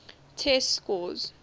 test scores